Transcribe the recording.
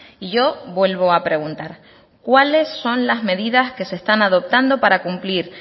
y yo vuelvo a preguntar cuáles son las medidas que se están adoptando para cumplir